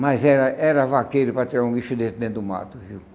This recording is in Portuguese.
Mas era era vaqueiro para tirar um bicho desse dentro do mato viu.